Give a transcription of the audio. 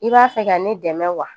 I b'a fɛ ka ne dɛmɛ wa